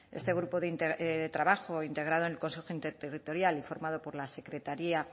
este grupo de trabajo integrado en el consejo interterritorial y formado por secretaría